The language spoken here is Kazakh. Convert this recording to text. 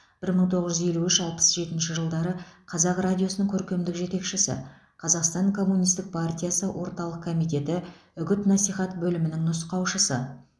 бір мың тоғыз жүз елу үш алпыс жетінші жылдары қазақ радиосының көркемдік жетекшісі қазақстан коммунистік партиясы орталық комитеті үгіт насихат бөлімінің нұсқаушысы